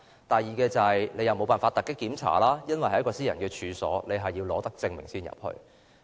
當局固然無法突擊檢查私人處所，必須取得手令才能進入。